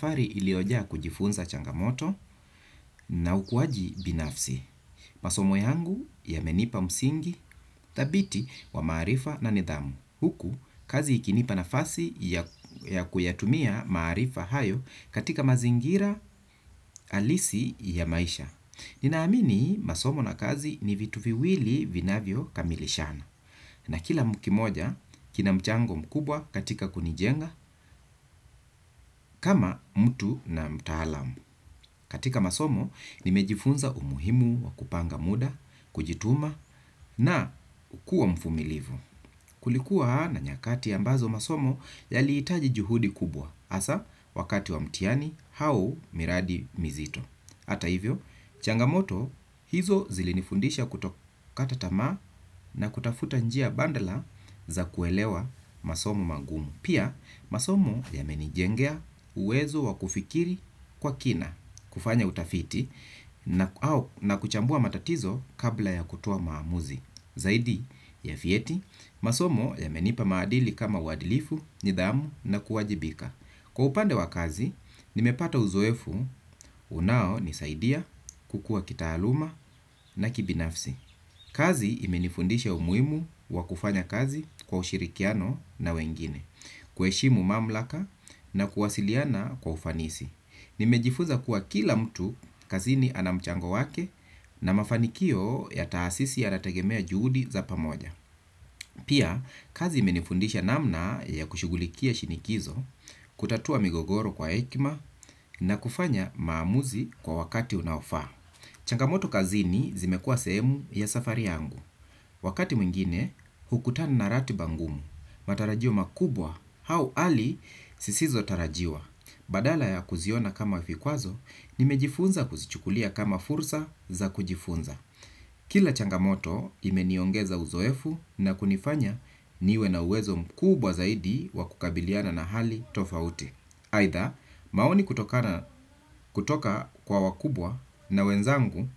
Safari iliyojaa kujifunza changamoto na ukuwaji binafsi. Masomo yangu yamenipa msingi, dhabiti wa maarifa na nidhamu. Huku, kazi ikinipa nafasi ya kuyatumia maarifa hayo katika mazingira halisi ya maisha. Ninaamini masomo na kazi ni vitu viwili vinavyo kamilishana. Na kila kimoja, kina mchango mkubwa katika kunijenga kama mtu na mtaalam. Katika masomo, nimejifunza umuhimu wa kupanga muda, kujituma na kukuwa mvumilivu. Kulikuwa na nyakati ambazo masomo yali hitaji juhudi kubwa, hasa wakati wa mtihani au miradi mizito. Hata hivyo, changamoto hizo zilinifundisha kutokata tamaa na kutafuta njia badala za kuelewa masomo magumu. Pia, masomo yamenijengea uwezo wa kufikiri kwa kina kufanya utafiti na kuchambua matatizo kabla ya kutoa maamuzi. Zaidi, ya vyeti, masomo yamenipa maadili kama uadilifu, nidhamu na kuwajibika. Kwa upande wa kazi, nimepata uzoefu unao nisaidia kukua kitaaluma na kibinafsi. Kazi imenifundisha umuimu wa kufanya kazi kwa ushirikiano na wengine. Kuheshimu mamlaka na kuwasiliana kwa ufanisi nimejifunza kuwa kila mtu kazini ana mchango wake na mafanikio ya taasisi ya nategemea juhudi za pamoja. Pia, kazi imenifundisha namna ya kushughulikia shinikizo, kutatua migogoro kwa hekima na kufanya maamuzi kwa wakati unaofaa. Changamoto kazini zimekua sehemu ya safari yangu. Wakati mwingine hukutana na ratiba ngumu, matarajio makubwa au hali zisizo tarajiwa. Badala ya kuziona kama vikwazo, nimejifunza kuzichukulia kama fursa za kujifunza. Kila changamoto imeniongeza uzoefu na kunifanya niwe na uwezo mkubwa zaidi wa kukabiliana na hali tofauti. Aidha maoni kutoka kwa wakubwa na wenzangu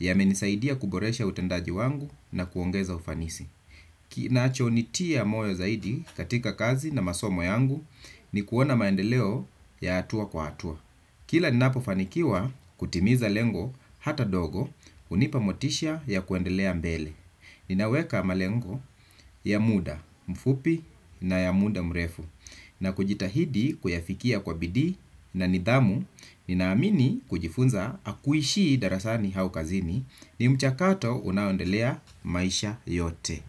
yamenisaidia kuboresha utendaji wangu na kuongeza ufanisi. Kinachonitia moyo zaidi katika kazi na masomo yangu ni kuona maendeleo ya hatua kwa hatua. Kila ninapofanikiwa kutimiza lengo hata dogo hunipa motisha ya kuendelea mbele. Ninaweka malengo ya muda mfupi na ya muda mrefu na kujitahidi kuyafikia kwa bidii na nidhamu ninaamini kujifunza hakuishii darasani au kazini ni mchakato unao endelea maisha yote.